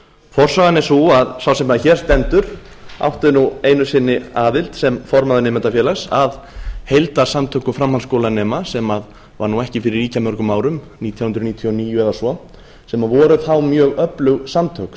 forsagan er sú að sá sem hér stendur átti nú einu sinni aðild sem formaður nemendafélags að heildarsamtökum framhaldsskólanema sem var nú ekki fyrir ýkja mörgum árum nítján hundruð níutíu og níu eða svo sem voru þá mjög öflug samtök